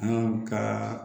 An ka